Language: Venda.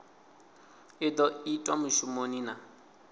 i do itwa mushumoni na